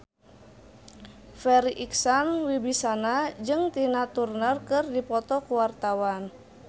Farri Icksan Wibisana jeung Tina Turner keur dipoto ku wartawan